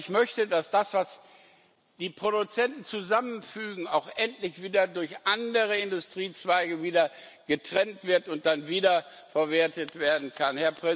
Aber ich möchte, dass das, was die Produzenten zusammenfügen, auch letztendlich durch andere Industriezweige wieder getrennt wird und dann wiederverwertet werden kann.